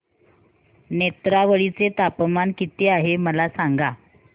नेत्रावळी चे तापमान किती आहे मला सांगा